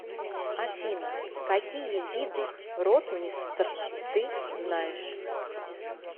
афина какие виды ротмистр ты знаешь